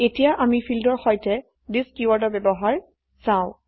এতিয়া আমি ফীল্ডৰ সৈতে থিচ কীওয়াৰ্ডৰ ব্যবহাৰ চাও